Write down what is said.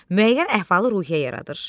Müəyyən əhvalı-ruhiyyə yaradır.